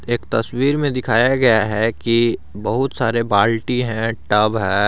एक तस्वीर में दिखाया गया है कि बहुत सारे बाल्टी है टब है।